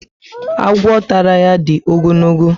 Agwọ tàrà ya dị ogologo